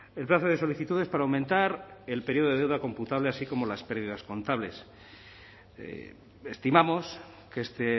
el plazo de solicitudes para aumentar el periodo de deuda computable así como las pérdidas contables estimamos que este